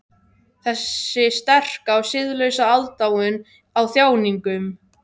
Þessi sterka og siðlausa aðdáun á þjáningum.